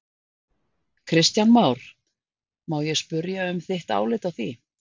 Kristján Már: Má ég spyrja um þitt álit á því?